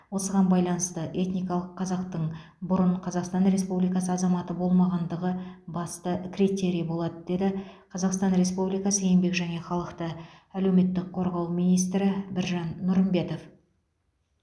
осыған байланысты этникалық қазақтың бұрын қазақстан республикасы азаматы болмағандығы басты критерий болады деді қазақстан республикасы еңбек және халықты әлеуметтік қорғау министрі біржан нұрымбетов